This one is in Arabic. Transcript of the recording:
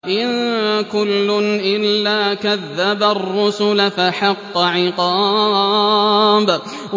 إِن كُلٌّ إِلَّا كَذَّبَ الرُّسُلَ فَحَقَّ عِقَابِ